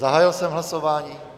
Zahájil jsem hlasování.